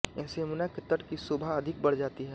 इनसे यमुना के तट की शोभा अधिक बढ़ जाती है